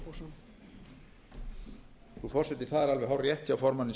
frú forseti það er alveg hárrétt hjá formanni